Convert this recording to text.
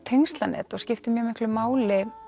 tengslanet og skiptir mjög miklu máli